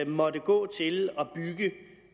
måtte gå til at og